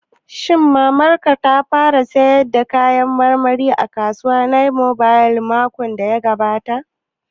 Shin Mamar ka ta fara sayar da kayan marmari a kasuwar mobile makon da ya gabata?